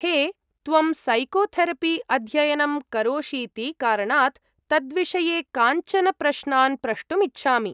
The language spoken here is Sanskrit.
हे, त्वं सैकोथेरपि अध्ययनं करोषीति कारणात्, तद्विषये काञ्चन प्रश्नान् प्रष्टुम् इच्छामि।